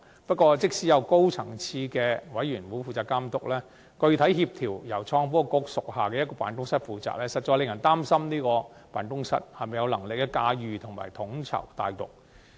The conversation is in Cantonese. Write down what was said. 不過，即使有高層次的督導委員會負責監督，具體協調由創新及科技局屬下的辦公室負責，實在令人擔心它是否有能力駕馭及統籌大局。